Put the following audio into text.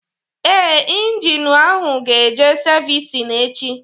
Ee, ịnginu ahụ ga eje savisi echi